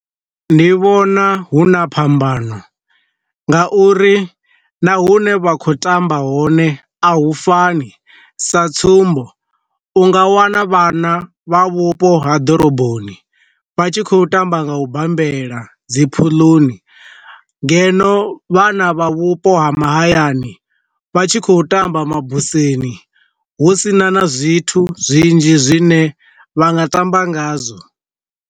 Ndi vhona hu na phambano, nga uri na hune vha kho tamba hone a hu fani sa tsumbo, u nga wana vhana vha vhupo ha ḓoroboni vha tshi khou tamba nga u bambela dzi pfuloni ngeno vhana vha vhupo ha mahayani, vha tshi khou tamba mabuseni hu sina na zwithu zwinzhi zwine vha nga tamba nga zwo.